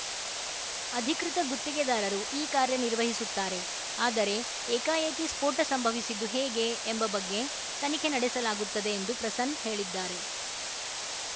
ಅಧಿಕೃತ ಗುತ್ತಿಗೆದಾರರು ಈ ಕಾರ್ಯ ನಿರ್ವಹಿಸುತ್ತಾರೆ ಆದರೆ ಏಕಾಏಕಿ ಸ್ಫೋಟ ಸಂಭವಿಸಿದ್ದು ಹೇಗೆ ಎಂಬ ಬಗ್ಗೆ ತನಿಖೆ ನಡೆಸಲಾಗುತ್ತದೆ ಎಂದು ಪ್ರಸನ್ನ್ ಹೇಳಿದ್ದಾರೆ